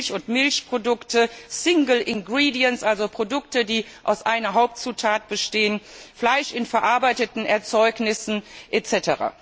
für Milch und Milchprodukte, single ingredients also Produkte, die aus einer Hauptzutat bestehen, Fleisch in verarbeiteten Erzeugnissen etc.